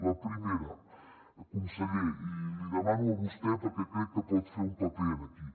la primera conseller i li demano a vostè perquè crec que pot fer un paper aquí